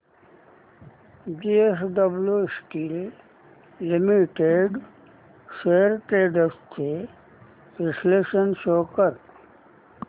JSW steel limited shares trends चे विश्लेषण show कर